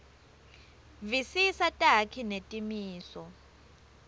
visisa takhi netimiso